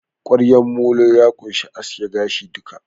Ƙwaryan molo ya ƙunshi aske gashi duka